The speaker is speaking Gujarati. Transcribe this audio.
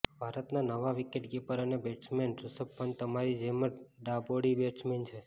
ભારતના નવા વિકેટકીપર અને બેટ્સમેન ઋષભ પંત તમારી જેમ જ ડાબોળી બેટ્સમેન છે